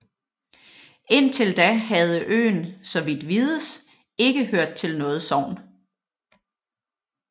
Indtil da havde øen så vidt vides ikke hørt til noget sogn